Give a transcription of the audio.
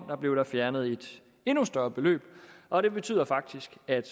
fjernede et endnu større beløb og det betyder faktisk at